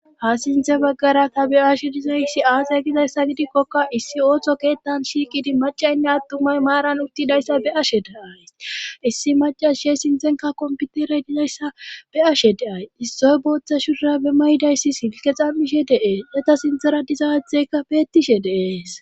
ha sinthe baggara ta be ashe dizayssi aasay gizayssa gidikkoka issi ooththo keettan shiikidi macaynne attumay maaran uttidayssa be ashe deay issi macasishe sinthenka komputere dizayssa be ashe deay issoy booththa shura be may7dayssi hilke xammishe deees eta sinthera dizathekka beettishe deees